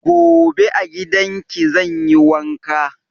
Gobe a gidan ki zan yi wanka.